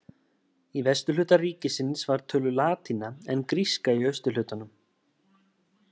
Í vesturhluta ríkisins var töluð latína en gríska í austurhlutanum.